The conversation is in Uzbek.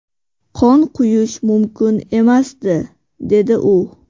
Qon quyish mumkin emasdi”, dedi u.